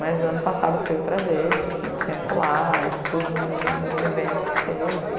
Mas ano passado fui outra vez, fiquei um tempo lá, expus em um em num evento que teve.